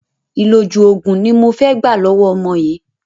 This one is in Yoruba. ìlòjù òògùn ni mo fẹ́ gbà lọ̀wọ̀ ọmọ yìí.